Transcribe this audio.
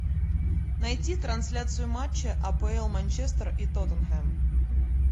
найти трансляцию матча апл манчестер и тоттенхэм